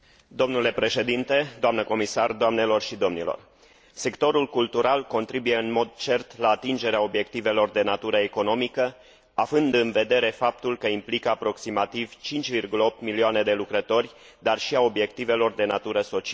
Sectorul cultural contribuie în mod cert la atingerea obiectivelor de natură economică, având în vedere faptul că implică aproximativ 5,8 milioane de lucrători, dar și a obiectivelor de natură socială, prin promovarea valorilor Uniunii Europene în lume,